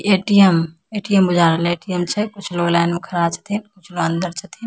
ATM. ATM. बुझा रहले ATM. छै कुछ लोग लाइन में खड़ा छथीन कुछ अंदर छथिन --